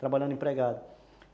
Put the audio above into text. trabalhando empregado.